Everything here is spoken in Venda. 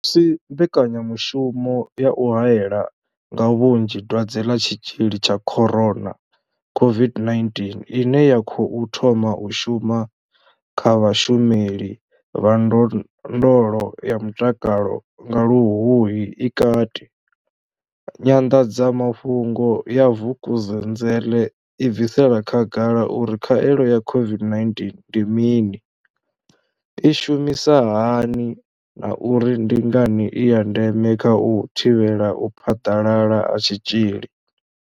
Musi mbekanyamushumo ya u hae la nga vhunzhi dwadze ḽa Tshitzhili tsha corona COVID-19 ine ya khou thoma u shuma kha vhashumeli vha ndondolo ya mutakalo nga Luhuhi i kati, Nyanḓadzamafhungo ya Vukuzenzele i bvisela khagala uri khaelo ya COVID-19 ndi mini, i shumisa hani na uri ndi ngani i ya ndeme kha u thivhela u phaḓalala ha tshitzhili.